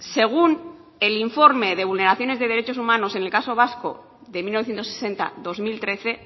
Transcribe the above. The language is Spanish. según el informe de vulneraciones de derechos humanos en el caso vasco de mil novecientos sesenta dos mil trece